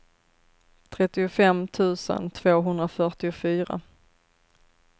trettiofem tusen tvåhundrafyrtiofyra